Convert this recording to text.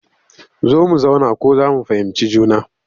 Zo mu zauna ko za mu fahimci juna